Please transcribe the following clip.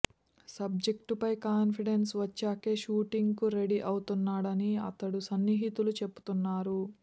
సబ్జెక్టుపై confidence వచ్చాకే shooting కు ready అవుతున్నాడని అతడి సన్నిహితులు చెబుతున్నారు